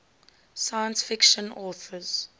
science fiction authors